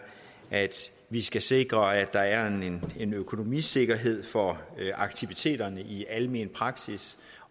at vi skal sikre at der er en økonomisikkerhed for aktiviteterne i almen praksis